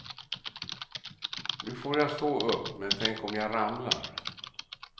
Nu får jag stå upp, men tänk om jag ramlar.